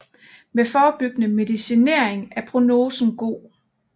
Med forebyggende medicinering er prognosen god